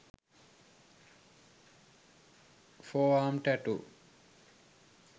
forearm tattoo